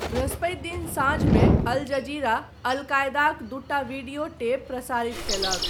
बृहस्पति दिन साँझमे अल जजीरा, अल कायदाक दूटा वीडियो टेप प्रसारित कयलक।